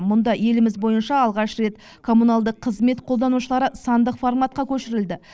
мұнда еліміз бойынша алғаш рет коммуналдық қызмет қолданушылары сандық форматқа көшірілді